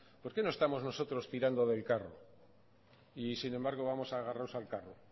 por qué no estamos nosotros tirando del carro y sin embargo vamos agarrados al carro